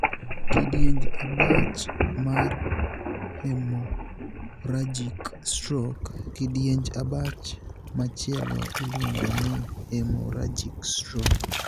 Kidienj abach mar 'hemorrhagic stroke'. Kidienj abach machielo iluongo ni 'hemorrhagic stroke'.